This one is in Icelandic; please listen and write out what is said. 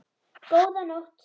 Góða nótt.